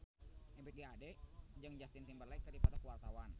Ebith G. Ade jeung Justin Timberlake keur dipoto ku wartawan